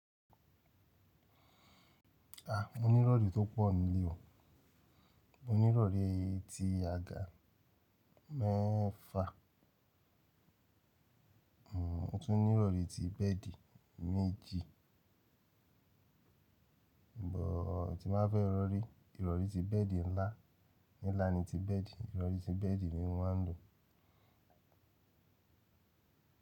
A, mo ní ìrọ̀rí tó pọ̀ nílé o. Mo ní ìrọ̀rí ti àga mẹ́fa, mo tún ní ìrọ̀rí ti bẹ́ẹ̀di méjì, bo ti ma fẹ́ rọ̀rí, ìrọ̀rí ti bẹ́ẹ̀di ńlá, nílàá ni ti bẹ́ẹ̀di, ìrọ̀rí ti bẹ́ẹ̀di ni mo máa ń lò.